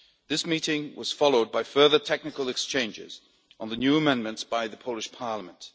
This meeting was followed by further technical exchanges on the new amendments by the Polish Parliament.